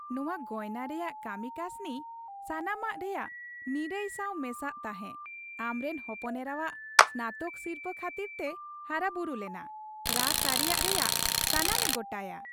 ᱱᱚᱶᱟ ᱜᱚᱭᱱᱟ ᱨᱮᱭᱟᱜ ᱠᱟᱹᱢᱤ ᱠᱟᱹᱥᱱᱤ, ᱥᱟᱢᱟᱱᱚᱢ ᱨᱮᱭᱟᱜ ᱱᱤᱨᱟᱹᱭ ᱥᱟᱶ ᱢᱮᱥᱟᱜ ᱛᱟᱦᱮᱸ, ᱟᱢ ᱨᱮᱱ ᱦᱚᱯᱚᱱ ᱮᱨᱟᱣᱟᱜ ᱥᱱᱟᱛᱚᱠ ᱥᱤᱨᱯᱟᱹ ᱠᱷᱟᱹᱛᱤᱨ ᱛᱮ ᱦᱟᱨᱟᱵᱩᱨᱩ ᱞᱮᱱᱟ ᱨᱟ ᱥᱟᱹᱨᱤᱭᱟᱜ ᱨᱮᱭᱟᱜ ᱥᱟᱱᱟᱢᱮ ᱜᱚᱴᱟᱭᱟ ᱾